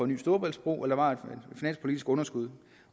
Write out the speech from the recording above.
ny storebæltsbro eller var et finanspolitisk underskud